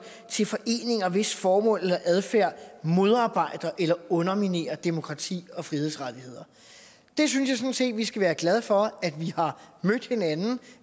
til foreninger hvis formål eller adfærd modarbejder eller underminerer demokrati og frihedsrettigheder jeg synes sådan set at vi skal være glade for